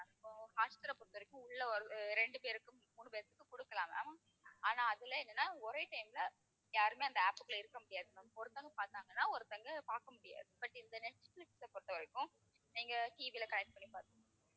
இப்போ ஹாட்ஸ்டாரை பொறுத்தவரைக்கும் உள்ள ஒரு அஹ் ரெண்டு பேருக்கு மூணு, பேருத்துக்குக் கொடுக்கலாம் ma'am ஆனா அதுல என்னன்னா ஒரே time ல யாருமே அந்த app க்குள்ள இருக்க முடியாது ma'am. ஒருத்தவங்க பார்த்தாங்கன்னா ஒருத்தங்க பார்க்க முடியாது, but இந்த நெட்பிலிஸ்ஸ பொறுத்தவரைக்கும் நீங்க TV ல connect பண்ணி